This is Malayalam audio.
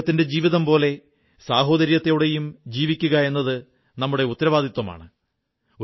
അദ്ദേഹത്തിന്റെ ജീവിതം പോലെ സാഹോദര്യത്തോടെയും ജീവിക്കുകയെന്നത് നമ്മുടെ ഉത്തരവാദിത്വമാണ്